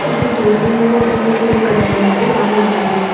वो जो दूसरी वीडियो है उसमें भी जिम करने वाला एक आदमी खड़ा है।